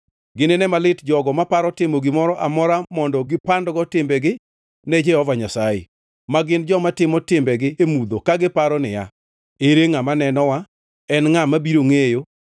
Ginine malit jogo maparo timo gimoro amora mondo gipandgo timbegi ne Jehova Nyasaye, ma gin joma timo timbegi e mudho ka giparo niya, “Ere ngʼama nenowa? En ngʼa mabiro ngʼeyo?”